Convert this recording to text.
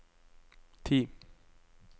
ti